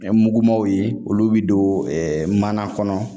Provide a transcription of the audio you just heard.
Ɛɛ mugumanw ye olu bɛ don mana kɔnɔ